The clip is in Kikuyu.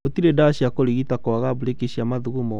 Gũtirĩ dawa cia kũrigita kwaga brĩki cia mathugumo